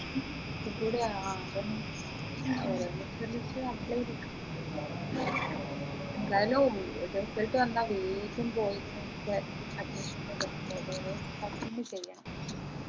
ഒക്കെ കൂടെ ആ അതെന്നെ ഒരെണ്ണത്തിൽ just apply ചെയ്തേക്കും എന്തായാലും result വന്നാൽ വേഗം പോയിട്ട് നമ്മുക്ക് admission അതൊക്കെ ചെയ്യണം